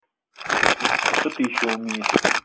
а что ты ещё умеешь